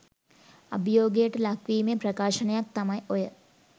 අභියෝගයට ලක් වීමේ ප්‍රකාශනයක් තමයි ඔය